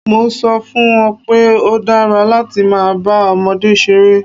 Mo ń sọ fún un pé ó dára láti máa bá ọmọdé ṣeré